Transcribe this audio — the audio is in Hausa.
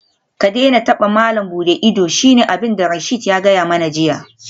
Ka daina taba malam buɗe ido shine abinda Rasheed ya gaya mani jiya